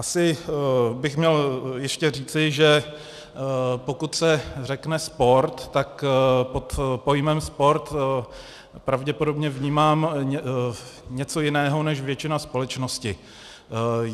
Asi bych měl ještě říci, že pokud se řekne sport, tak pod pojmem sport pravděpodobně vnímám něco jiného než většina společnosti.